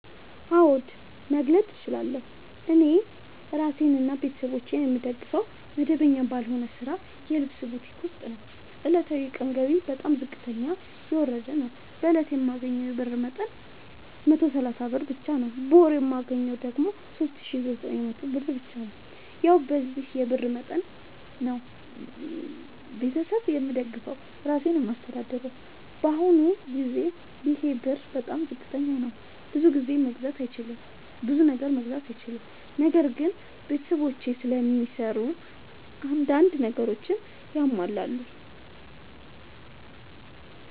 አዎድ መግለጥ እችላለሁ። እኔ እራሴንና ቤተሠቦቼን የምደግፈዉ መደበኛ ባልሆነ ስራ የልብስ ቡቲክ ዉስጥ ነዉ። ዕለታዊ የቀን ገቢየ በጣም ዝቅተኛና የወረደ ነዉ። በእለት የማገኘዉ የብር መጠን 130 ብር ብቻ ነዉ። በወር የማገኘዉ ደግሞ 3900 ብር ብቻ ነዉ። ያዉ በዚህ የብር መጠን መጠን ነዉ። ቤተሠብ የምደግፈዉ እራሴንም የማስተዳድረዉ በአሁኑ ጊዜ ይሄ ብር በጣም ዝቅተኛ ነዉ። ብዙ ነገር መግዛት አይችልም። ነገር ግን ቤተሰቦቼም ስለሚሰሩ አንዳንድ ነገሮችን ያሟላሉ።